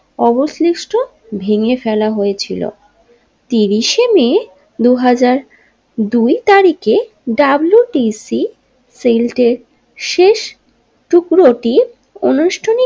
অবশিষ্ট ভেঙ্গে ফেলা হয়েছিল ত্রিশে মে দু হাজার দুই তারিখে ডাব্লিউটিসি সিল্টের শেষ টুকরোটি আনুষ্ঠানিক।